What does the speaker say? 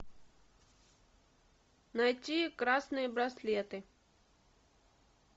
найти красные браслеты